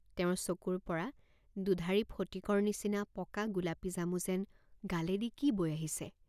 তেওঁৰ চকুৰ পৰা দুধাৰি ফটিকৰ নিচিনা পকা গোলাপীজামু যেন গালেদি কি বৈ আহিছে?